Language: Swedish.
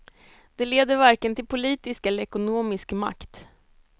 Det leder varken till politisk eller ekonomisk makt.